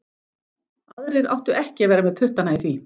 Aðrir áttu ekki að vera með puttana í því.